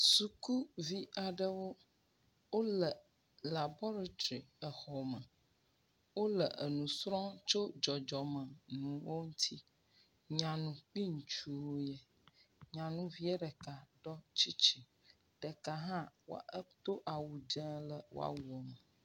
Sukuvi aɖewo wóle laboratri exɔme wóle enusrɔm tso dzɔdzɔmenuwo ŋuti nyanu kpi ŋutsuwo yɛ nyanuvie ɖeka ɖɔ tsitsi ɖeka hã edó awu dzē le woawuo me